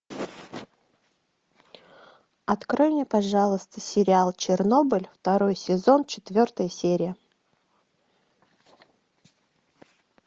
открой мне пожалуйста сериал чернобыль второй сезон четвертая серия